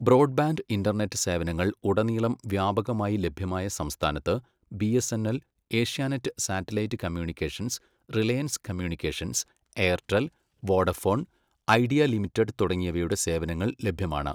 Broad bank internet സേവനങ്ങൾ ഉടനീളം വ്യാപകമായി ലഭ്യമായ സംസ്ഥാനത്ത്, BSNL, Asianet satellite communications, Reliance communications, Airtel, Vodafone Idea limited തുടങ്ങിയവയുടെ സേവനങ്ങൾ ലഭ്യമാണ്.